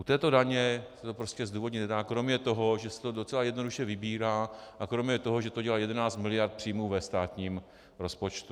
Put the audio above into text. U této daně se to prostě zdůvodnit nedá kromě toho, že se to docela jednoduše vybírá, a kromě toho, že to dělá 11 miliard příjmu ve státním rozpočtu.